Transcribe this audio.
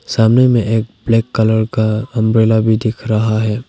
सामने में एक ब्लैक कलर का अंब्रेला भी दिख रहा है।